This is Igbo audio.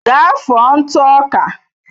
Gaa fụọ ntụ ọka.